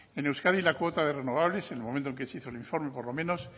en euskadi la cuota de renovables en el momento en el que se hizo el informe por lo menos